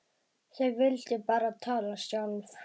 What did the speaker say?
Þau vildu bara tala sjálf.